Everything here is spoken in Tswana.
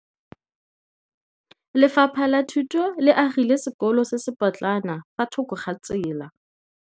Lefapha la Thuto le agile sekôlô se se pôtlana fa thoko ga tsela.